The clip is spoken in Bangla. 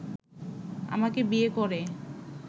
আমাকে বিয়ে করে